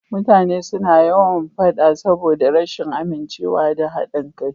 Mutane suna yawan faɗa saboda rashin amincewa da haɗin kai.